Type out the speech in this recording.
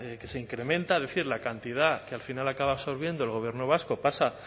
que se incrementa es decir la cantidad que al final acaba absorbiendo el gobierno vasco pasa